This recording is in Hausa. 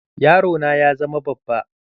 Yaro na ya zama babba.